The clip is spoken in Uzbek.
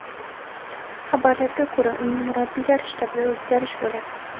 Xabarlarga ko‘ra, uning murabbiylar shtabida o‘zgarish bo‘ladi.